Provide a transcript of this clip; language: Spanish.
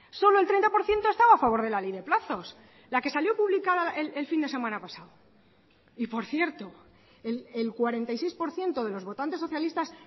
solo el treinta por ciento estaba a favor de la ley de plazos la que salió publicada el fin de semana pasado y por cierto el cuarenta y seis por ciento de los votantes socialistas